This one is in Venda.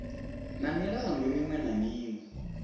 na milandu miṅwe na miṅwe